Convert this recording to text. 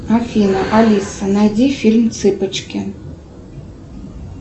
афина алиса найди фильм цыпочки